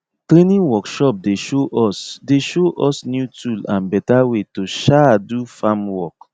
training workshop dey show us dey show us new tool and better way to um do farm work